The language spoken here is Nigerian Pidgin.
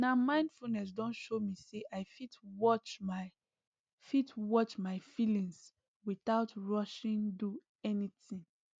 na mindfulness don show me say i fit watch my fit watch my feelings without rushing do anything